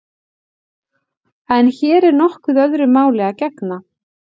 En hér er nokkuð öðru máli að gegna.